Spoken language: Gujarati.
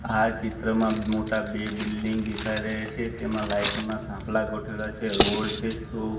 આ ચિત્રમાં મોટા બે બિલ્ડીંગ દેખાય રહે છે તેમાં લાઈટો ના થાંભલા ગોઠવેલા છે રોડ છે સો--